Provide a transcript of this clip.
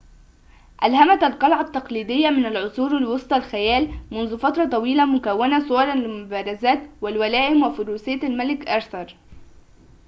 ألهمت القلعة التقليدية من العصور الوسطى الخيال منذ فترة طويلة مكونةً صوراً للمبارزات والولائم وفروسية الملك آرثر